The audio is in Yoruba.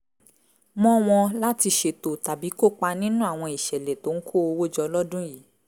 mọ́ wọn láti ṣètò tàbí kópa nínú àwọn ìṣẹ̀lẹ̀ tó ń kó owó jọ lọ́dún yìí